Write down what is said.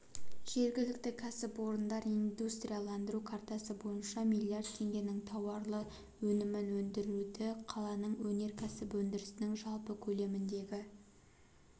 жергілікті кәсіпорындар индустрияландыру картасы бойынша миллиард теңгенің тауарлы өнімін өндірді қаланың өнеркәсіп өндірісінің жалпы көлеміндегі